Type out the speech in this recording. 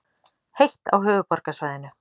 Heitt á höfuðborgarsvæðinu